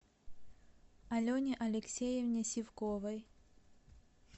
алене алексеевне сивковой